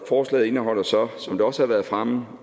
forslaget indeholder så som det også har været fremme